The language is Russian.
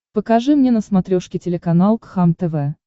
покажи мне на смотрешке телеканал кхлм тв